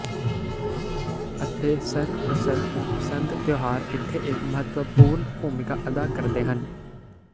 ਅਤੇ ਸਰਪ੍ਰਸਤ ਸੰਤ ਤਿਉਹਾਰ ਇੱਥੇ ਇੱਕ ਮਹੱਤਵਪੂਰਨ ਭੂਮਿਕਾ ਅਦਾ ਕਰਦੇ ਹਨ